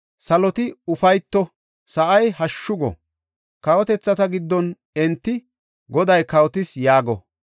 Saloti ufayto; sa7i hashshu go! Kawotethata giddon enti “Goday kawotis!” yaago.